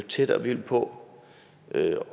tættere vi vil på og jo